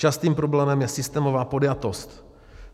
Častým problémem je systémová podjatost.